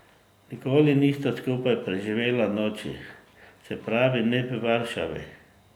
Nikoli nista skupaj preživela noči, se pravi, ne v Varšavi.